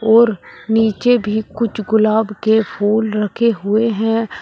और नीचे भी कुछ गुलाब के फूल रखे हुए हैं।